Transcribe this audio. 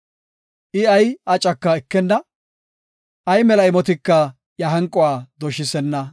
I ay acaka ekenna; ay mela imotika iya hanquwa doshisenna.